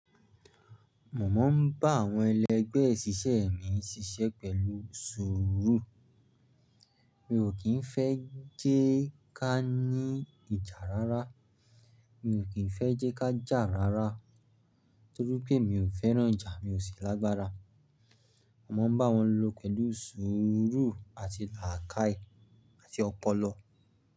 Mọ̀mọ́ ń bá àwọn ẹlẹgbẹ́ mí ṣiṣẹ́ pẹ̀lú sùúrù. Mi ò kín fẹ́ jẹ ká ní ìjà rárá, mi ò kín fẹ́ jẹ ká jà rárá, torí pé mi ò fẹ́ràn ìjà, mi ò sì lágbára. Mọ̀mọ́ ń bá wọn lọ pẹ̀lú sùúrù àti làákàì àti ọpọlọ.